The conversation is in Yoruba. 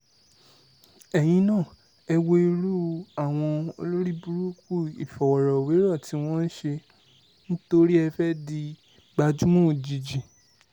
ẹ̀yin náà ẹ wo irú àwọn olórìbùrùkù ìfọ̀rọ̀wérọ̀ tí wọ́n ṣe nítorí tí ẹ fẹ́ẹ́ di gbajúmọ̀ òjijì